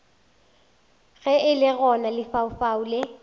ge le gona lefaufau le